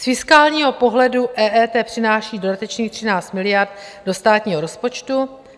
Z fiskálního pohledu EET přináší dodatečných 13 miliard do státního rozpočtu.